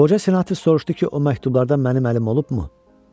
Qoca senator soruşdu ki, o məktublarda mənim əlim olubmu?